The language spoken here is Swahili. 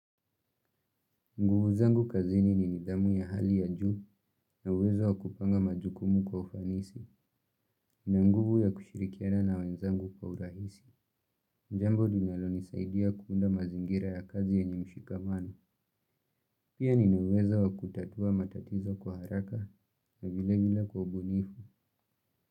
Nguvu zangu kazini ni nidhamu ya hali ya juu, na uwezo wakupanga majukumu kwa ufanisi na nguvu ya kushirikiana na wenzangu kwa urahisi. Jambo linalonisaidia kuunda mazingira ya kazi yenye mshikamano. Pia nina uwezo wakutatua matatizo kwa haraka na vile vile kwa ubunifu.